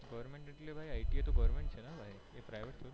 goverment એટલે ITI તો goverment છે ને એ private થોડી